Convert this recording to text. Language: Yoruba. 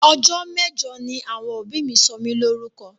Ọjọ́ mẹ́jọ ni àwọn òbí mi sọ mí Lórúkọ